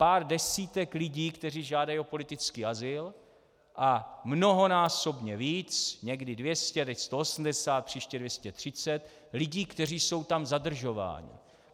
Pár desítek lidí, kteří žádají o politický azyl, a mnohonásobně víc, někdy 200, teď 180, příště 230 lidí, kteří jsou tam zadržování.